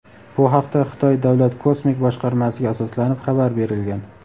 Bu haqda Xitoy davlat kosmik boshqarmasiga asoslanib xabar berilgan.